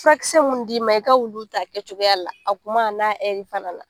Furakisɛ minnu d'i ma i ka olu ta kɛcogoya la a kuma n'a fana na